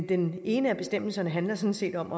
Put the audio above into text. den ene af bestemmelserne handler sådan set om